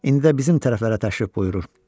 İndi də bizim tərəflərə təşrif buyurur.